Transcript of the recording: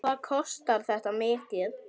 Hvað kostar þetta mikið?